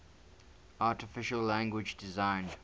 artificial language designed